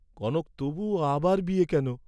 কনক তবুও আবার বিয়ে কেন?